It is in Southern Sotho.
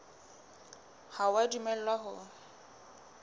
ha o a dumellwa ho